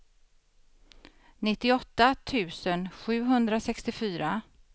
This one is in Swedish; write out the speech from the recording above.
nittioåtta tusen sjuhundrasextiofyra